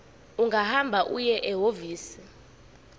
ungahamba uye ehhovisi